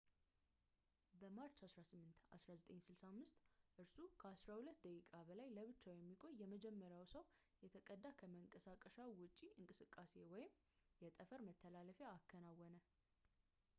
በማርች 18 1965 እርሱ ከአስራ ሁለት ደቂቃ በላይ ለብቻው የሚቆይ የመጀመሪያውን ሰው የተቀዳ ከመንቀሳቀሻው ውጪ እንቅስቃሴ ወይም የጠፈር መተላለፊያ አከናወነ